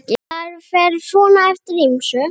Það fer svona eftir ýmsu.